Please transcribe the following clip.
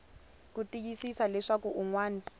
ku tiyisisa leswaku un wana